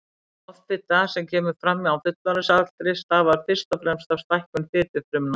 Offita sem kemur fram á fullorðinsaldri stafar fyrst og fremst af stækkun fitufrumna.